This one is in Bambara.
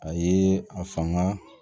A ye a fanga